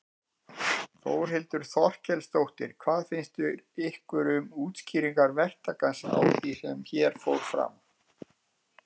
Þórhildur Þorkelsdóttir: Hvað finnst ykkur um útskýringar verktakans á því sem hér fór fram?